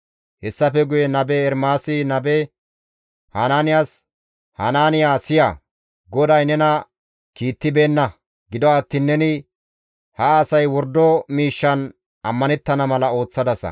Hessafe guye nabe Ermaasi nabe Hanaaniyas, «Hanaaniya siya! GODAY nena kiittibeenna; gido attiin neni ha asay wordo miishshan ammanettana mala ooththadasa.